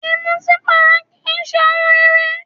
Ìmutípara kì í ṣe ohun rere